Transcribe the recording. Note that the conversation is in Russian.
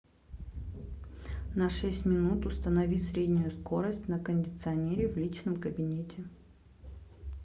на шесть минут установи среднюю скорость на кондиционере в личном кабинете